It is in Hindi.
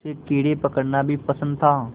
उसे कीड़े पकड़ना भी पसंद था